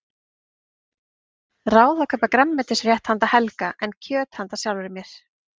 Ráð að kaupa grænmetisrétt handa Helga en kjöt handa sjálfri mér.